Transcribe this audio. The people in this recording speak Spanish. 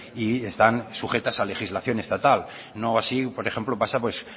y están sujetas a legislación estatal no así por ejemplo pasa pues